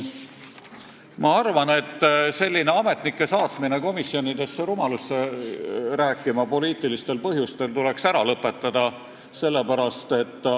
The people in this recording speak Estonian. Ma arvan, et selline ametnike komisjonidesse poliitilistel põhjustel rumalusi rääkima saatmine tuleks ära lõpetada.